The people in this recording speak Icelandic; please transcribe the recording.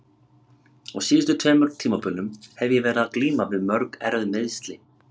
Á síðustu tveimur tímabilum hef ég verið að glíma við mjög erfið meiðsli.